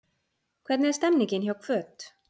Hvernig er stemningin hjá Hvöt?